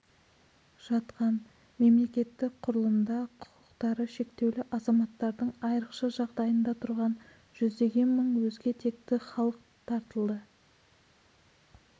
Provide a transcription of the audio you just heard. жатқан жалпымемлекеттік құрылымда құқтары шектеулі азаматтардың айрықша жағдайында тұрған жүздеген мың өзге текті халық тартылды